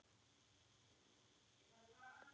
Þín litla frænka Gyða.